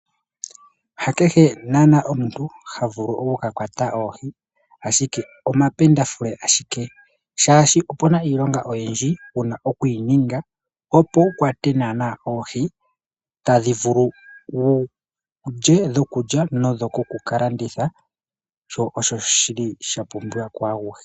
Ha kehe omuntu ha vulu oku ka kwata oohi ashike omapendafule ashike oshoka opuna iilonga oyindji wuna okuyi ninga wutya odhokulya nenge dhikukalanditha sho osho shapumbiwa kwaayehe.